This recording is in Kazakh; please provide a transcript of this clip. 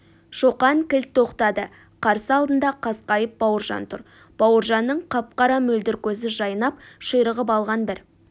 шоқан кілт тоқтады қарсы алдында қасқайып бауыржан тұр бауыржанның қап-қара мөлдір көзі жайнап ширығып алған бір